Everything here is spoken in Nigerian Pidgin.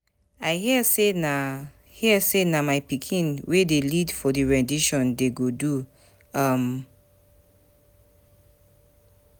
I hear say na hear say na my pikin wey dey lead for the rendition dey go do um